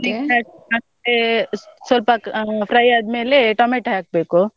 ಮತ್ತೇ ಸ್ವ~ ಸ್ವಲ್ಪ ಅಹ್ fry ಅದ್ಮೇಲೆ tomato ಹಾಕ್ಬೇಕು.